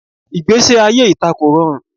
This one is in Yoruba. Igbesi aye ita ko rọrun